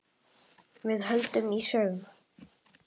Við höldum í söguna.